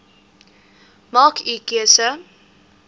maak u keuse